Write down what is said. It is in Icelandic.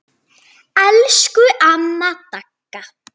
Elsku amma Dagga.